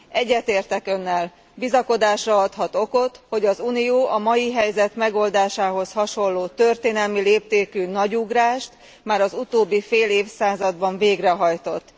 Egyetértek Önnel bizakodásra adhat okot, hogy az Unió a mai helyzet megoldásához hasonló, történelmi léptékű nagy ugrást már az utóbbi fél évszázadban végrehajtott.